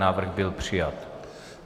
Návrh byl přijat.